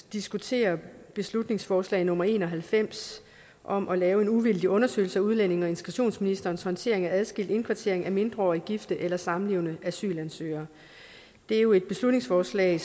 diskuterer beslutningsforslag nummer en og halvfems om at lave en uvildig undersøgelse af udlændinge og integrationsministerens håndtering af adskilt indkvartering af mindreårige gifte eller samlevende asylansøgere det er jo et beslutningsforslag